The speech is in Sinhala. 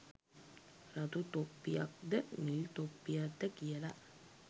රතු තොප්පියක්ද නිල් තොප්පියක්ද කියල